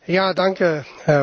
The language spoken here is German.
Herr Präsident!